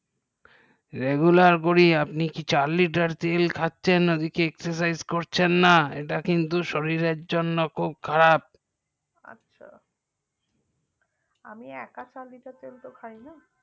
regular করি আপনি কি চার litar তেল খাচ্ছেন আপনি exercise করছেন না এটা কিন্তু শরীরের জন্য খুব খারাপ আমি একা চার litar তেল খাইনা